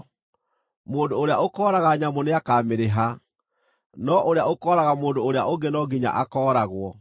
Mũndũ ũrĩa ũkooraga nyamũ nĩakamĩrĩha, no ũrĩa ũkooraga mũndũ ũrĩa ũngĩ no nginya akooragwo.